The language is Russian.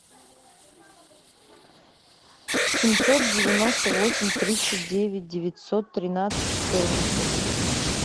семьсот девяносто восемь тридцать девять девятьсот тринадцать четырнадцать